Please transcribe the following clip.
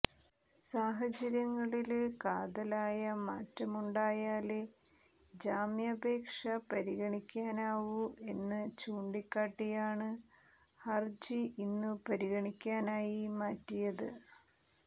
സാഹചര്യങ്ങളില് കാതലായ മാറ്റമുണ്ടായാലേ ജാമ്യാപേക്ഷ പരിഗണിക്കാനാവൂ എന്നു ചൂണ്ടിക്കാട്ടിയാണ് ഹര്ജി ഇന്നു പരിഗണിക്കാനായി മാറ്റിയത്